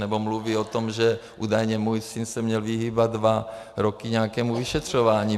Nebo mluví o tom, že údajně můj syn se měl vyhýbat dva roky nějakému vyšetřování.